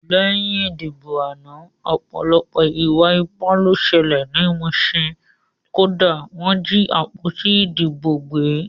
Lẹ́yìn ìdìbò àná ọ̀pọ̀lọpọ̀ ìwà ipá ló ṣẹlẹ̀ ní Muṣin, kódà wọ́n jí àpótí ìdìbò gbé